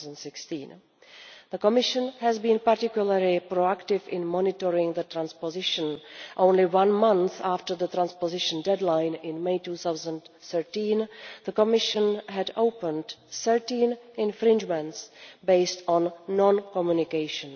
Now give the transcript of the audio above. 2016. The Commission has been particularly pro active in monitoring the transposition only one month after the transposition deadline in May 2013, the Commission had opened 13 infringements based on non communication.